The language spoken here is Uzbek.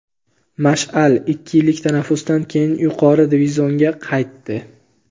"Mash’al" ikki yillik tanaffusdan keyin yuqori divizionga qaytdi.